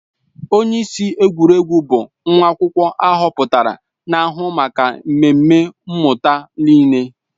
Onyeisi egwuregwu bụ nwa akwụkwọ ahọpụtara na-ahụ maka mmemme mmụta niile